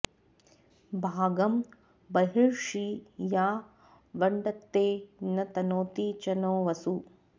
भागं बर्हिषि या वृङ्क्ते न तनोति च नो वसु